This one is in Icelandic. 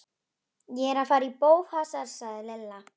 Ég er að fara í bófahasar sagði Lilla.